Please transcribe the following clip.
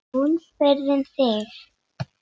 Hún spurði um þig.